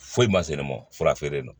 Foyi ma se ne ma fura feere don